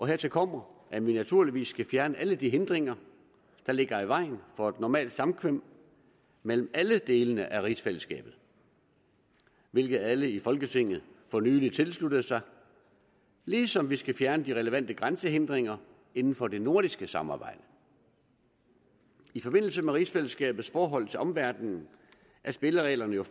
hertil kommer at vi naturligvis skal fjerne alle de hindringer der ligger i vejen for et normalt samkvem mellem alle delene af rigsfællesskabet hvilket alle i folketinget for nylig tilsluttede sig ligesom vi skal fjerne de relevante grænsehindringer inden for det nordiske samarbejde i forbindelse med rigsfællesskabets forhold til omverdenen er spillereglerne jo